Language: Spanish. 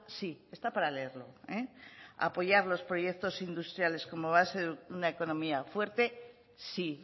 sí está para leerlo apoyar los proyectos industriales como base de una economía fuerte sí